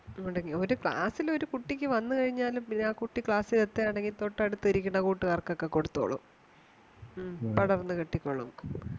മുടങ്ങി ഒരു ക്ലാസ്സിൽ ഒരു കുട്ടിക്കു വന്നു കഴിഞ്ഞാൽ പിന്നെ ആ കുട്ടി ക്ലാസ്സിൽ ഇതുവാണെങ്കിൽ തൊട്ടു അടുത്ത് ഇരിക്കുന്ന കൂട്ടുകാർക്കു ഒക്കെ കൊടുത്തോളും മമ പടർന്നു കിട്ടിക്കോളും